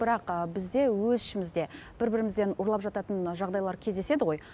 бірақ бізде өз ішімізде бір бірімізден ұрлап жататын жағдайлар кездеседі ғой